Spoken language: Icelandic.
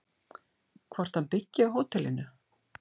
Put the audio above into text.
Hvort hann byggi á hótelinu?